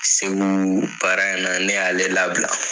SEGU baara in na ne y'ale labila.